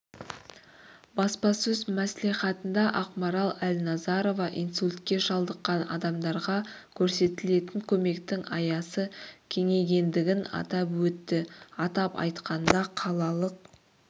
баспасөз мәслихатында ақмарал әлназарова инсультке шалдыққан адамдарға көрсетілетін көмектің аясы кеңейгендігін атап өтті атап айтқанда қалалық